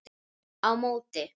Á móti